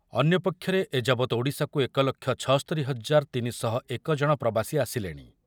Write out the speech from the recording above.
ଅନ୍ୟପକ୍ଷରେ ଏଯାବତ ଓଡ଼ିଶାକୁ ଏକ ଲକ୍ଷ ଛସ୍ତରି ହଜାର ତିନି ଶହ ଏକ ଜଣ ପ୍ରବାସୀ ଆସିଲେଣି।